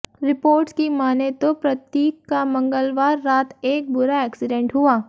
reports की मानें तो प्रतीक का मंगलवार रात एक बुरा एक्सीडेंट हुआ